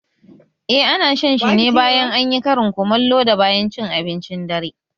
Eh, ana shan shi ne bayan anyi karin kumallo da bayan cin abincin dare